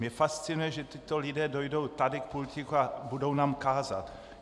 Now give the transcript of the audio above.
Mě fascinuje, že tito lidé dojdou sem k pultíku a budou nám kázat.